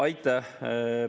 Aitäh!